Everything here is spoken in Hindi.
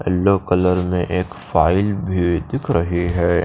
यलो कलर में एक फाइल भी दिख रही है।